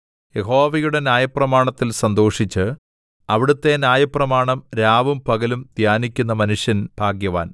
യഹോവയുടെ ന്യായപ്രമാണത്തിൽ സന്തോഷിച്ച് അവിടുത്തെ ന്യായപ്രമാണം രാവും പകലും ധ്യാനിക്കുന്ന മനുഷ്യൻ ഭാഗ്യവാൻ